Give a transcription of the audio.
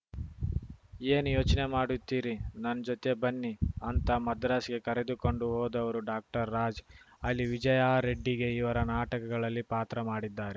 ಏನ್‌ ಯೋಚ್ನೆ ಮಾಡುತ್ತೀರಿ ನನ್‌ ಜೊತೆ ಬನ್ನಿ ಅಂತ ಮದ್ರಾಸ್‌ಗೆ ಕರೆದುಕೊಂಡು ಹೋದವರು ಡಾಕ್ಟರ್ರಾಜ್‌ ಅಲ್ಲಿ ವಿಜಯಾರೆಡ್ಡಿಗೆ ಇವರು ನಾಟಕಗಳಲ್ಲಿ ಪಾತ್ರ ಮಾಡಿದ್ದಾರೆ